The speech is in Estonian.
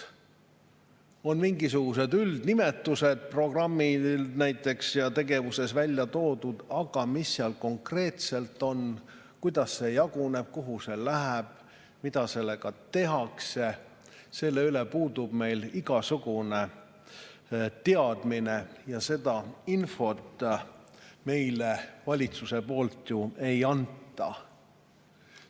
On mingisugused programmide üldnimetused ja tegevused välja toodud, aga mis seal konkreetselt on, kuidas see jaguneb, kuhu see läheb, mida sellega tehakse, selle üle puudub meil igasugune teadmine, seda infot meile valitsus ju ei anna.